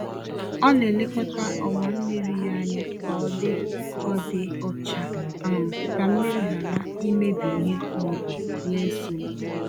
Ọ na-elekọta ọwa mmiri ya anya ka ọ dị ọ dị ọcha um ka mmiri ghara imebi ìhè ma ọ bụ nye nsogbu.